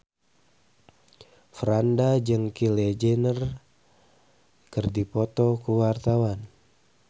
Franda jeung Kylie Jenner keur dipoto ku wartawan